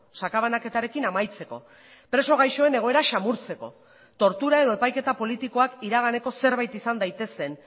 sakabanaketarekin amaitzeko preso gaixoen egoera samurtzeko tortura edo epaiketa politikoak iraganeko zerbait izan daitezen